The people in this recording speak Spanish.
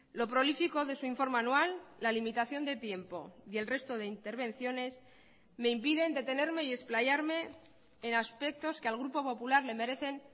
lo prolífico de su informe anual la limitación de tiempo y el resto de intervenciones me impiden detenerme y explayarme en aspectos que al grupo popular le merecen